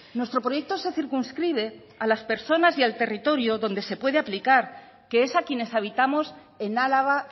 nuestro proyecto se circunscribe a las personas y al territorio donde se puede aplicar que es a quienes habitamos en álava